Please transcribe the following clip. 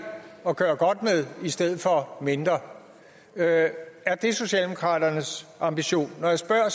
at gøre godt med i stedet for mindre er er det socialdemokraternes ambition når jeg spørger